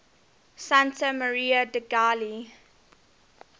santa maria degli